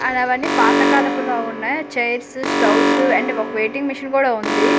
And అవ్వని పాత కాలపుల ఉన్నాయి చైర్స్ స్టవ్స్ అండ్ ఒక వెయిటింగ్ మిషన్ కూడ ఉంది.